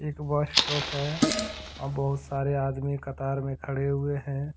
एक bus stop है बहुत सारे आदमी कतार में खड़े हुए हैं।